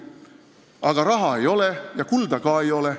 Aga raha ei ole ja kulda ka ei ole.